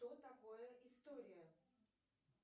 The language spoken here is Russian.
что такое история